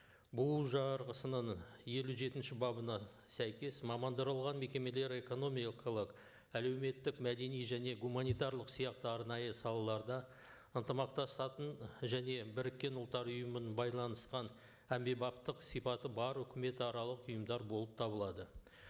бұұ жарғысының елу жетінші бабына сәйкес мамандырылған мекемелер экономикалық әлеуметтік мәдени және гуманитарлық сияқты арнайы салаларда ынтымақтасатын және біріккен ұлттар ұйымының байланысқан әмбебаптық сипаты бар өкіметаралық ұйымдар болып табылады